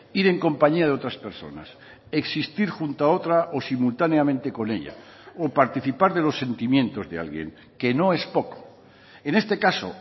ir en compañía de otras personas existir junto a otra o simultáneamente con ella o participar de los sentimientos de alguien que no es poco en este caso